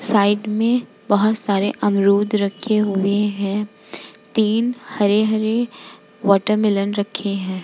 Side में बहुत सारे अमरुद रखे हुए है तीन हरे-हरे वाटरमैलोंन रखे है ।